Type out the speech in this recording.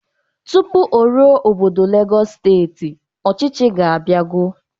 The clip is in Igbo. Tụpụ o ruo obodo Legọs steeti, ọchịchị ga-abiago.